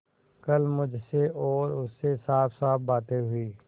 कल मुझसे और उनसे साफसाफ बातें हुई